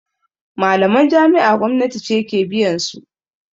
Malaman jami'a gwamnati ce ke biyansu